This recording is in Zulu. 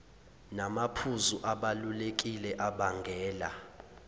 namaphuzu abalulekile abangela